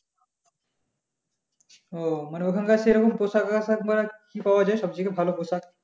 ও মানে ওখানকার সেরকম পোশাক আশাক মানে কি পাওয়া যায় সব থেকে ভালো পোশাকী?